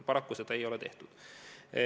Paraku seda ei tehtud.